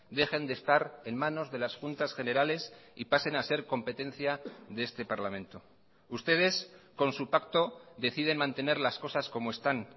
dejen de estar en manos de las juntas generales y pasen a ser competencia de este parlamento ustedes con su pacto deciden mantener las cosas como están